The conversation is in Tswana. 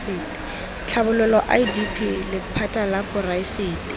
tlhabololo idp lephata la poraefete